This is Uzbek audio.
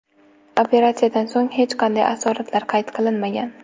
Operatsiyadan so‘ng hech qanday asoratlar qayd qilinmagan.